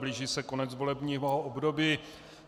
Blíží se konec volebního období.